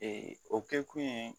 o kɛkun ye